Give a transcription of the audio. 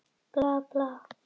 Auðvitað, segi ég.